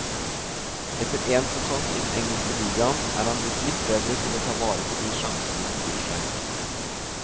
Etter én sesong i den engelske ligaen er han blitt litt bedre til å ta vare på de sjansene som byr seg.